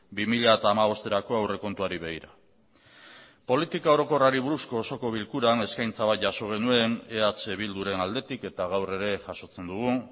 bi mila hamabosterako aurrekontuari begira politika orokorrari buruzko osoko bilkuran eskaintza bat jaso genuen eh bilduren aldetik eta gaur ere jasotzen dugu